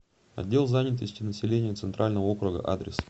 отдел занятости населения центрального округа адрес